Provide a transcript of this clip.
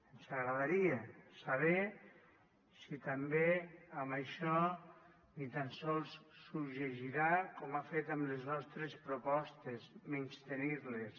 ens agradaria saber si també això ni tan sols s’ho llegirà com ha fet amb les nostres propostes menystenir les